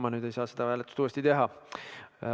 Ma nüüd ei saa seda hääletust uuesti teha.